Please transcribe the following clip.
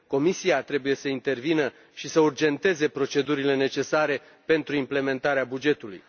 Comisia trebuie să intervină și să urgenteze procedurile necesare pentru implementarea bugetului.